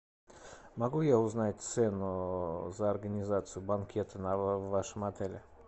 могу я узнать цену за организацию банкета на в вашем отеле